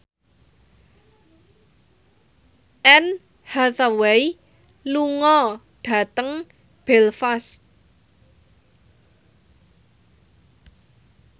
Anne Hathaway lunga dhateng Belfast